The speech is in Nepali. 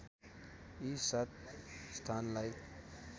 यी सात स्थानलाई